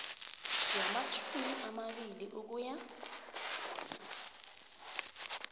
yamatjhumi amabili ukuya